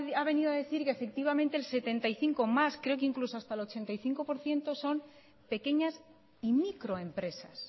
ha venido a decir que efectivamente el setenta y cinco creo que incluso hasta el ochenta por ciento son pequeñas y microempresas